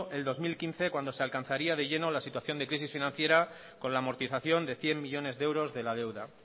el dos mil quince cuando se alcanzaría de lleno la situación de crisis financiera con la amortización de cien millónes de euros de la deuda